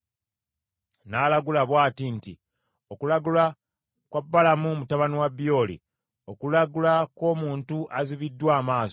N’alagula bw’ati nti, “Okulagula kwa Balamu mutabani wa Byoli, okulagula kw’omuntu azibuddwa amaaso,